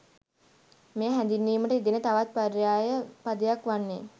මෙය හැඳින්වීමට යෙදෙන තවත් පර්යාය පදයක් වන්නේ